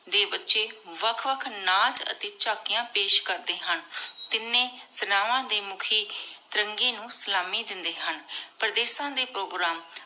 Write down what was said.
ਦੇ ਬਚੇ ਵਖ ਵਖ ਨਾਚ ਅਤੇ ਝਾਕੀਆਂ ਪੇਸ਼ ਕਰਦੇ ਹਨ ਤਿੰਨੇ ਸੈਨਾਵਾਂ ਦੇ ਮੁਖੀ ਤਿਰੰਗੇ ਨੂ ਸਲਾਮੀ ਦਿੰਦੇ ਹਨ ਪਰਦੇਸਾਂ ਦੇ ਪ੍ਰੋਗਰਾਮ